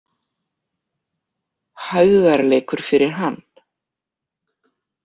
Hægðarleikur fyrir hann.